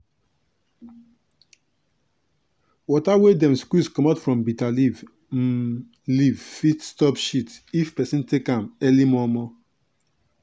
water wey dem squeeze comot from bitter um leaf fit stop shit if peson take am early mor mor.